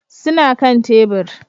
Suna kan tebur